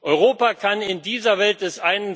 Europa kann in dieser Welt des